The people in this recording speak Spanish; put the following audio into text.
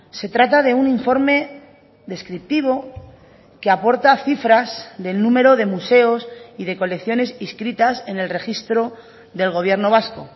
se trata de un informe descriptivo que aporta cifras del número de museos y de colecciones inscritas en el registro del gobierno vasco